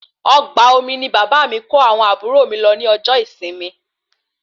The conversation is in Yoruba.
Ọgbà omi ní bàbá mí kó àwọn àbúrò mí lọ ní ọjọ ìsinmi